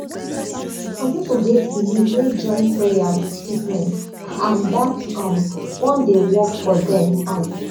some people get belief wey join prayer with treatment and dat um one dey work for dem um